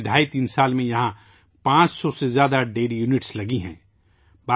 پچھلے ڈھائی تین برسوں میں یہاں 500 سے زیادہ ڈیری اکائیاں لگی ہیں